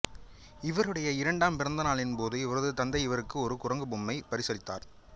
இவருடைய இரண்டாம் பிறந்த நாளின் போது இவரது தந்தை இவருக்கு ஒரு குரங்கு பொம்மையைப் பரிசளித்தார்